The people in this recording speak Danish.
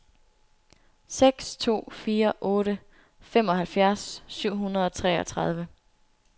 seks to fire otte femoghalvfjerds syv hundrede og treogtredive